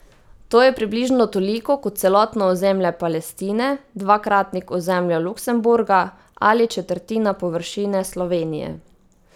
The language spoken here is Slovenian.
To je približno toliko kot celotno ozemlje Palestine, dvakratnik ozemlja Luksemburga ali četrtina površine Slovenije.